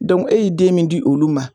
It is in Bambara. Dɔnku e y'i den min di olu ma